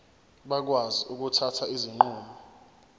bakwazi ukuthatha izinqumo